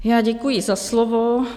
Já děkuji za slovo.